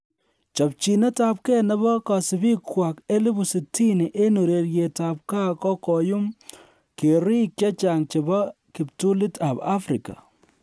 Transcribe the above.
Chopchinet ab kee nebo kosibikwak 60,000 en ureriet ab gaa kokoiyum keriik chechang chebo kiptulit ab Afrika.